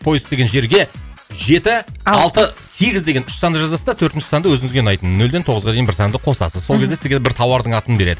поиск деген жерге жеті алты сегіз деген үш санды жазасыз да төртінші санды өзіңізге ұнайтын нөлден тоғызға дейін бір санды қосасыз сол кезде сізге бір тауардың атын береді